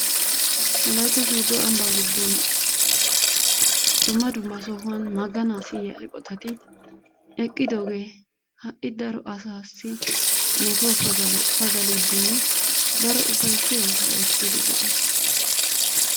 wollaytta sooddo ambbaa giddon dumma dumma sohuwan maganaa siyiyaa eqotati eqqidoogee ha'i daro asaassi metuwaa pagaliiddinne daro ufayssiyaa oosuwaa oottiiddi de'ees.